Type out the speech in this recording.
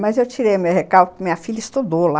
Mas eu tirei o meu recalque que minha filha estudou lá.